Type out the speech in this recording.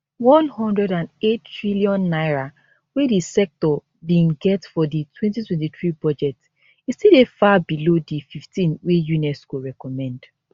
n108 trillion wey di sector bin get for di 2023 budget e still dey far below di 15 wey unesco recommend